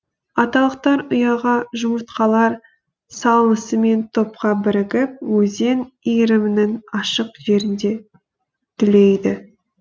аталықтар ұяға жұмыртқалар салысымен топқа бірігіп өзен иірімінің ашық жерінде түлейді